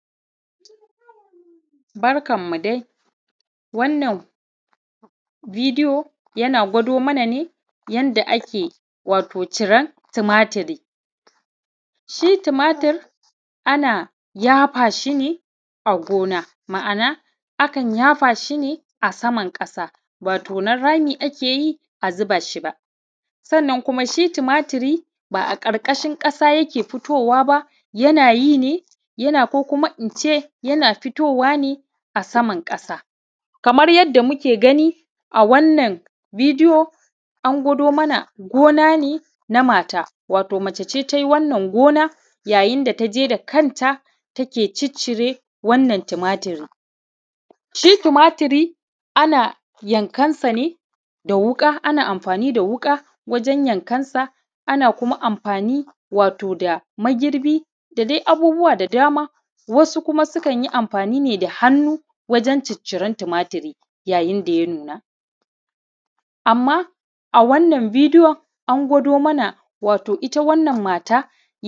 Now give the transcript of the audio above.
barkanmu dai wannan video yana gwado mana ne yanda ake wato ciran tumaturi shi tumatur ana yafa shi ne a gona ma’ana akan yafa shi ne a saman ƙasa ba tonon rami ake a zuba shi ba sannan kuma shi tumaturi ba a ƙarƙashin ƙasa yake fitowa ba yana yi ne ko kuma in ce yana fitowa ne a saman ƙasa kamar yadda muke gani a wannan video an gwado mana gona ne na mata wato mace ce ta yi wannan gona yayin da ta je da kanta take ciccire wannan tumaturin shi tumaturi ana yankansa ne da wuƙa ana amfani da wuƙa wajen yankansa ana kuma amfani wato da magirbi da dai abubuwa da dama wasu kuma sukan yi amfani ne da hannu wajen cicciran tumaturi yayin da ya nuna amma a wannan bidiyon an gwado mana ita wannan mata